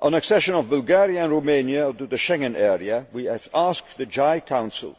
On the accession of Bulgaria and Romania to the Schengen Area we have asked the JHA Council